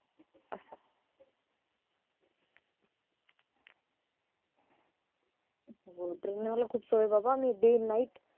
हम्म train नि मला खूप सोय आहे बाबा मी day night